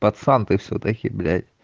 пацан ты всё-таки блять